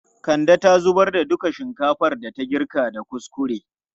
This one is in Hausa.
Kande ta zubar da duka shinkafan da ta girka da kuskure.